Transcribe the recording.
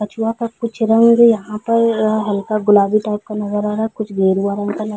कुछ रंग यहाँ पर हल्का गुलाबी टाइप का नजर आ रहा है कुछ गेरुआ रंग का नज़र --